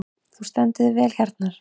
Þú stendur þig vel, Hjarnar!